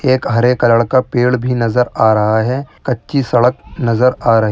हरे colour का पेड़ भी नज़र आ रहा है कच्ची सड़क नज़र आ रही --